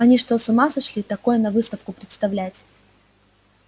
они что с ума сошли такое на выставку представлять